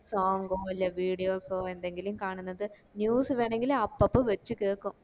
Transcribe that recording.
song ഓ അല്ലെ videos ഓ എന്തെങ്കിലും കാണുന്നത് news ഇടനെ അപ്പപ്പോ വെച്ച് കേക്കും